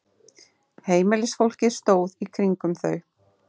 Heimilisfólkið stóð í kringum þau.